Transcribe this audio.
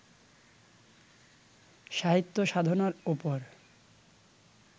সাহিত্যসাধনার ওপর